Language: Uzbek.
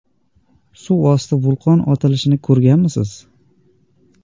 Suvosti vulqon otilishini ko‘rganmisiz?